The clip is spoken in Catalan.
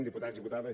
diputats diputades